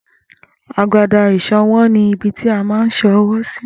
Agbada ìṣan ọwọ́ ni ibití a má ń san ọwọ́ sí